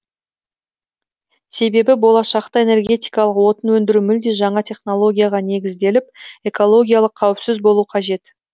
себебі болашақта энергетикалық отын өндіру мүлде жаңа технологияға негізделіп экологиялық қауіпсіз болу қажет